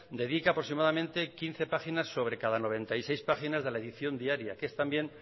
dedica aproximadamente quince páginas sobre cada noventa y seis páginas de la edición diaria que es también